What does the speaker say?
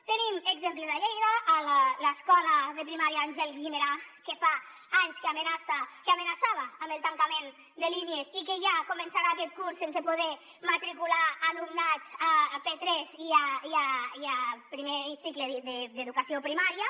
en tenim exemples a lleida a l’escola de primària àngel guimerà que fa anys que amenaçava amb el tancament de línies i que ja començarà aquest curs sense poder matricular alumnat a p3 i a primer cicle d’educació primària